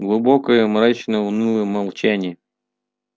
глубокое мрачное унылое молчание